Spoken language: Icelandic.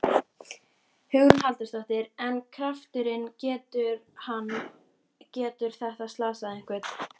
Hugrún Halldórsdóttir: En krafturinn, getur hann, getur þetta slasað einhvern?